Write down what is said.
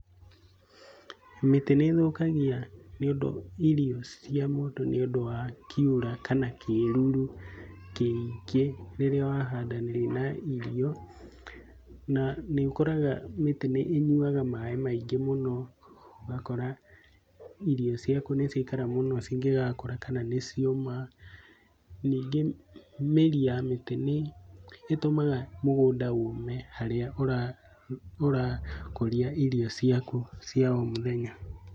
Mĩtĩ nĩĩthũkagia irio cia mũndũ nĩũndũ wa kiura kana kĩruru kĩingĩ rĩrĩa wahandanĩria na irio. Na nĩ ũkoraga mĩtĩ nĩ ĩnyuaga maĩ maingĩ. ũgakora irio ciaku nĩciakara cingĩgakũra kana nĩcioma. Nyingĩ mĩri ya mĩtĩ nĩ ĩtũmaga mũgũnda ũme harũa ũrakũria irio ciaku cia o mũthenya.